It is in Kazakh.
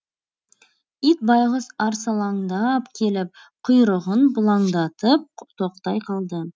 ит байғұс арсалаңдап келіп құйрығын бұлаңдатып тоқтай қалды